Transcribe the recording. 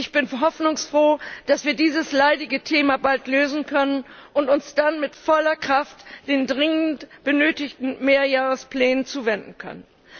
Ich bin hoffnungsfroh, dass wir dieses leidige Thema bald lösen können und uns dann mit voller Kraft den dringend benötigten Mehrjahresplänen zuwenden können.